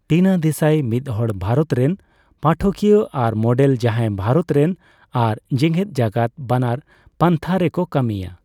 ᱴᱤᱱᱟ ᱫᱮᱥᱟᱭ ᱢᱤᱫᱦᱚᱲ ᱵᱷᱟᱨᱚᱛ ᱨᱮᱱ ᱯᱟᱴᱷᱚᱠᱤᱭᱟᱹ ᱟᱨ ᱢᱚᱰᱮᱞ ᱡᱟᱦᱟᱸᱭ ᱵᱷᱟᱨᱚᱛ ᱨᱮᱱ ᱟᱨ ᱡᱮᱜᱮᱫᱡᱟᱠᱟᱫ ᱵᱟᱱᱟᱨ ᱯᱟᱱᱛᱷᱟ ᱨᱮᱠᱚ ᱠᱟᱹᱢᱤᱭᱟ ᱾